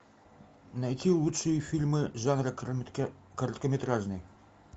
найти лучшие фильмы жанра короткометражный